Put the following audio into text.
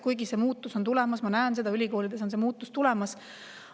Kuid muutus on tulemas, ma näen, et ülikoolides on see muutus tulemas.